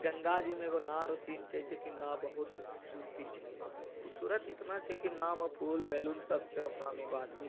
गंगा जी में एगो छै जो की ना बहुत ही खूबसूरती छै खुबसूरत इतना छै की नाउ में पुल बेलून सब छै ओकरा में एकगो आदमी--